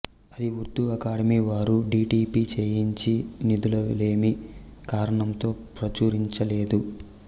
అది ఉర్దూ అకాడమీ వారు D T P చేయించి నిధులలేమి కారణంతో ప్రచురించలేదు